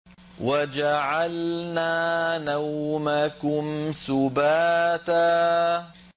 وَجَعَلْنَا نَوْمَكُمْ سُبَاتًا